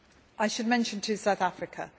I should mention, too, South Africa.